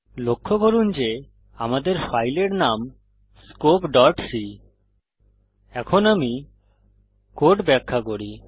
লক্ষ্য করুন যে আমাদের ফাইলের নাম scopeসি এখন আমি কোড ব্যাখা করি